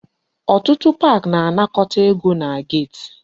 Ọtụtụ park na-anakọta ego na gate